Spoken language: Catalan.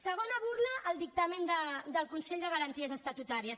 segona burla al dictamen del consell de garanties estatutàries